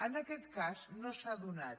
en aquest cas no s’ha donat